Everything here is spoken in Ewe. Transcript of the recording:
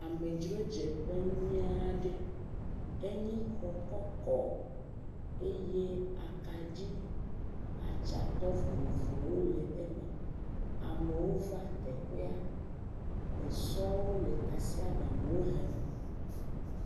Amedzrodzeƒe nyui aɖe, enye xɔ kɔkɔ, eye akaɖi atsatɔ vovovowo le eme, amewo va teƒea, esɔwo le tasiaɖamwo hem.